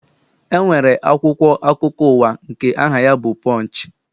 E nwere akwụkwọ akụkọ ụwa nke aha ya bụ Pọnchị.